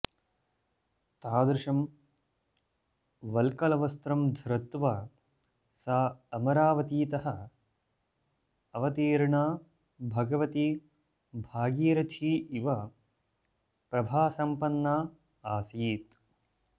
तादृशं वल्कलवस्त्रं धृत्वा सा अमरावतीतः अवतीर्णा भगवती भागीरथी इव प्रभासम्पन्ना आसीत्